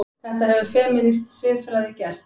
Þetta hefur femínísk siðfræði gert.